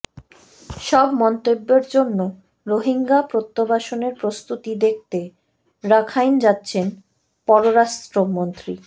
সব মন্তব্যের জন্য রোহিঙ্গা প্রত্যাবাসনের প্রস্তুতি দেখতে রাখাইন যাচ্ছেন পররাষ্ট্রমন্ত্রী